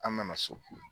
An nana so